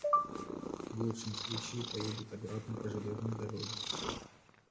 в лучшем случае поедет обратно по железной дороге